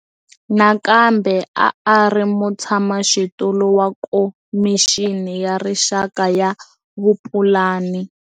Nakambe a a ri mutshamaxitulu wa Khomixini ya Rixaka ya Vupulani.